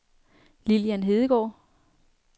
Lillian Hedegaard